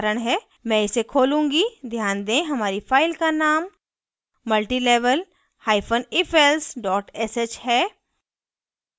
मैं इसे खोलूंगी ध्यान दें हमारी फाइल का name multilevel hyphen ifelse dot sh है